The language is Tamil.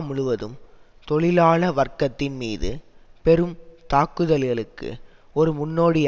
முழுவதும் தொழிலாள வர்க்கத்தின் மீது பெரும் தாக்குதல்களுக்கு ஒரு முன்னோடி